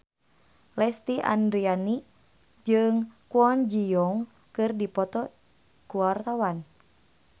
Lesti Andryani jeung Kwon Ji Yong keur dipoto ku wartawan